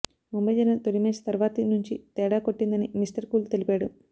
ముంబై జరిగిన తొలి మ్యాచ్ తర్వాతి నుంచి తేడా కొట్టిందని మిస్టర్ కూల్ తెలిపాడు